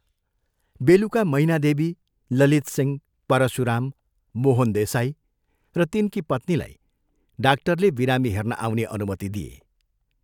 बेलुका मैनादेवी, ललितसिंह, परशुराम, मोहन देसाई र तिनकी पत्नीलाई डाक्टरले बिरामी हेर्न आउने अनुमति दिए।